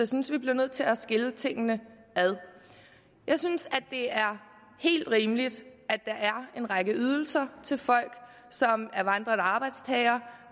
synes vi bliver nødt til at skille tingene ad jeg synes det er helt rimeligt at der er en række ydelser til folk som er vandrende arbejdstagere